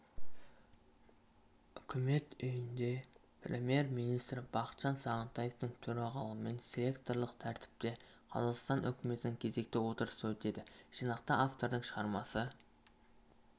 үкімет үйінде премьер-министрі бақытжан сағынтаевтың төрағалығымен селекторлық тәртіпте қазақстан үкіметінің кезекті отырысы өтеді жинақта автордың шығармасы